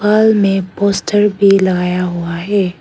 दीवाल में पोस्टर भी लगाया हुआ है।